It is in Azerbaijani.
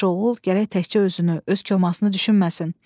Yaxşı oğul gərək təkcə özünü, öz komasını düşünməsin.